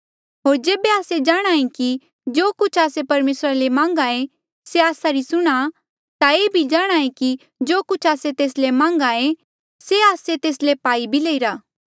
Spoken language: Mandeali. होर जेबे आस्से जाणहां ऐें कि जो कुछ आस्से परमेसरा ले मांघ्हा ऐें से आस्सा री सुणहां ता ये भी जाणहां ऐें कि जो कुछ आस्से तेस ले मान्गेया से आस्से तेस ले पाई लईरा